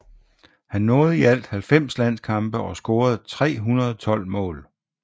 Han nåede i alt 90 landskampe og scorede 312 mål